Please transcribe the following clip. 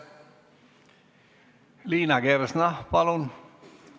Liina Kersna, palun!